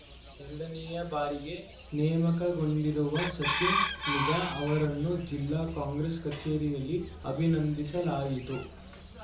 ಎರಡನೇ ಬಾರಿಗೆ ನೇಮಕಗೊಂಡಿರುವ ಸಚಿನ್‌ ಮಿಗ ಅವರನ್ನು ಜಿಲ್ಲಾ ಕಾಂಗ್ರೆಸ್‌ ಕಚೇರಿಯಲ್ಲಿ ಅಭಿನಂದಿಸಲಾಯಿತು